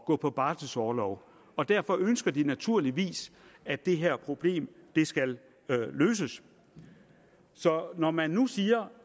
gå på barselorlov og derfor ønsker de naturligvis at det her problem skal løses så når man nu siger